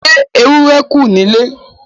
Ṣé ewúro kù nílé.